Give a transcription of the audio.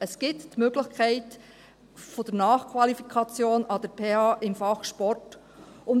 Es gibt die Möglichkeit der Nachqualifikation im Fach Sport an der Pädagogischen Hochschule Bern (PHB).